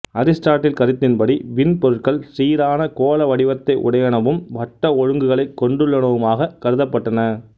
Aristotle கருத்தின்படி விண்பொருட்கள் சீரான கோளவடிவத்தையுடையனவும் வட்ட ஒழுங்குகளைக் கொண்டுள்ளனவுமாகக் கருதப்பட்டன